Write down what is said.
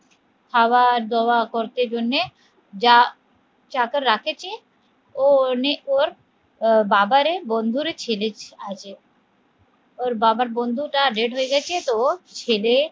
খাবার দেওয়া করতের জন্যে যা চাকর রাখেছে ও অনেক ওর আহ বাবারে বন্ধুর ছেলে আছে ওর বাবার বন্ধুটা death হয়ে গেছে তো ছেলে